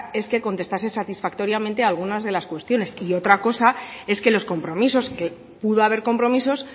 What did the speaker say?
es que contestase satisfactoriamente alguna de las cuestiones y otra cosa es que los compromisos que pudo haber compromisos